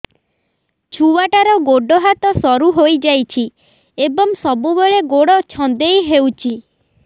ଛୁଆଟାର ଗୋଡ଼ ହାତ ସରୁ ହୋଇଯାଇଛି ଏବଂ ସବୁବେଳେ ଗୋଡ଼ ଛଂଦେଇ ହେଉଛି